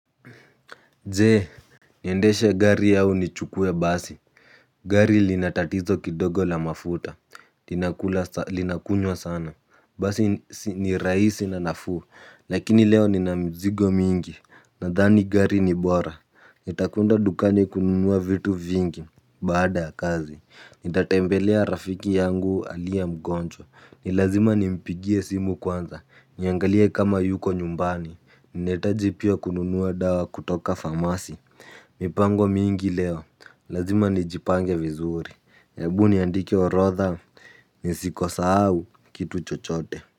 Je, niendeshe gari au nichukue basi. Gari lina tatizo kidogo la mafuta. Linakunywa sana. Basi ni rahisi na nafuu lakini leo nina mzigo mingi. Nadhani gari ni bora. Nitakwenda dukani kununua vitu vingi baada ya kazi. Nitatembelea rafiki yangu aliye mgonjwa. Ni lazima nimpigie simu kwanza. Niangalia kama yuko nyumbani. Ninahitaji pia kununua dawa kutoka famasi. Mipango mingi leo. Lazima nijipange vizuri hebu niandike orodha. Nisiko sahau kitu chochote.